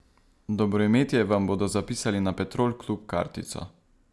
Dobroimetje vam bodo zapisali na Petrol klub kartico.